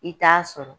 I t'a sɔrɔ